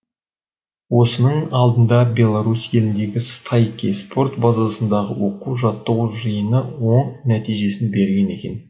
осының алдында белорусь еліндегі стайки спорт базасындағы оқу жаттығу жиыны оң нәтижесін берген екен